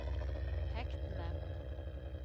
hektene